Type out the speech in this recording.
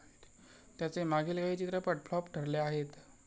त्याचे मागील काही चित्रपट फ्लॉप ठरले आहेत.